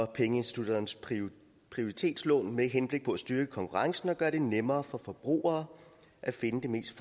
pengeinstitutternes prioritetslån med henblik på at styrke konkurrencen og gøre det nemmere for forbrugere at finde det mest